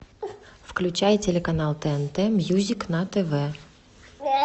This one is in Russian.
включай телеканал тнт мьюзик на тв